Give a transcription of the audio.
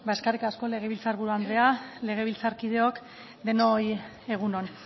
eskerrik asko legebiltzar buru andrea legebiltzarkideok denoi egun on